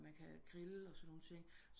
Man kan grille og sådan nogle ting